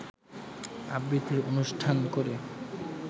আবৃত্তির অনুষ্ঠান করে